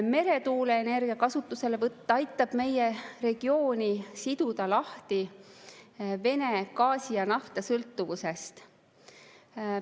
Meretuuleenergia kasutuselevõtt aitab meie regiooni siduda lahti Vene gaasi ja nafta sõltuvusest.